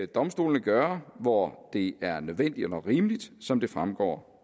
domstolene gøre hvor det er nødvendigt og rimeligt som det fremgår